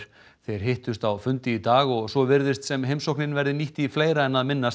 þeir hittust á fundi í dag og svo virðist sem heimsóknin verði nýtt í fleira en að minnast